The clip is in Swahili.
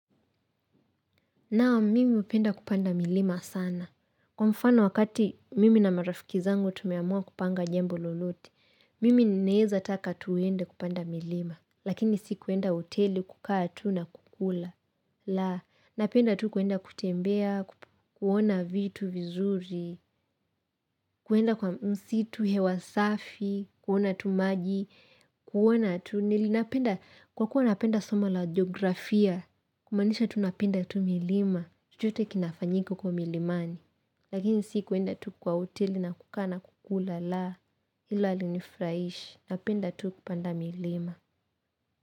Naam, mimi hupenda kupanda milima sana. Kwa mfano wakati mimi na marafiki zangu tumeamua kupanga jambo lolote, mimi naweza taka twende kupanda milima. Lakini si kuenda hoteli kukaa tu na kukula. La, napenda tu kuenda kutembea, kuona vitu vizuri, kuenda kwa msitu hewasafi, kuona tu maji, kuona tu. Nili napenda, kwa kuwa napenda soma la jeografia, kumaanisha napenda tu milima. Chochote kinafanyika huko milimani Lakini sikuenda tu kwa hoteli na kukaa kukula la Hilo halinifurahishi napenda tu kupanda milima.